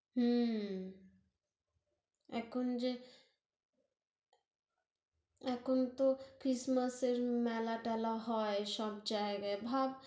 হুঁ হুঁ এখন যে এখন তহ ক্রিসমাসের মেলা-টেলা হয় সব জায়গায়, ভাব